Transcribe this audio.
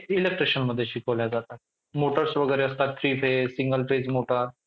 electricianमध्ये शिकवल्या जाता. motors वगैरे असतात three phase single phase motor